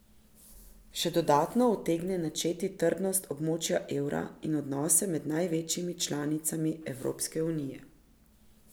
Še dodatno utegne načeti trdnost območja evra in odnose med največjimi članicami Evropske unije.